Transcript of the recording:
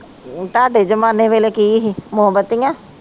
ਤਾਡੇ ਜਮਾਨੇ ਵੇਲੇ ਕਿ ਹੀ ਮੋਬਤੀਆਂ